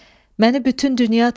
Məni bütün dünya tanıyır.